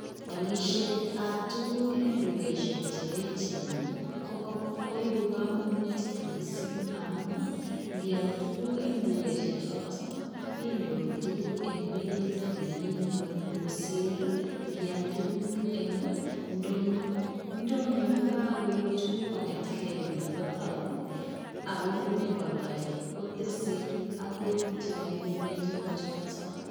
Alisheet ab tuguuk en dukosiek che eecheen ii koibuu kamanutiik missing amuun ii ngial tuguuk en dukosiek chotoon kenyoruu en beit nemii kweeny kosiir ii ingial tuguuk en ndonyoo ndonyoo kokakoip tuguuk kongeet en gei olin bo town ii ak konyoo kiyaldai kotesetai agoi chekaibuneen tuguuk chotoon.